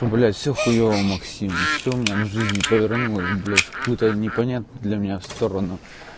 блять все хуйово максим все у меня на жизнь повернулось в непонятную для меня сторону